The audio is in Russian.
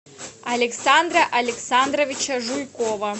александра александровича жуйкова